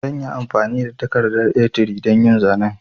Zanyi amfani da takardar A3 don yin zanen